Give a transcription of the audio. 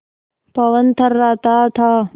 पवन थर्राता था